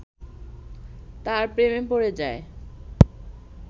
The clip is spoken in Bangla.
তার প্রেমে পড়ে যায়